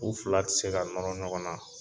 U fila tɛ se ka nɔrɔ ɲɔgɔn na.